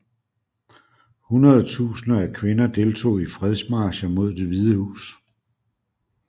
Hundredetusinder af kvinder deltog i fredsmarcher mod Det Hvide Hus